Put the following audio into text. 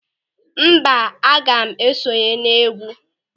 Mba, aga m esonye n'égwú.